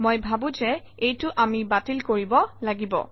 মই ভাবোঁ যে এইটো আমি বাতিল কৰিব লাগিব